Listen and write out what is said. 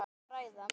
Hvað á að ræða?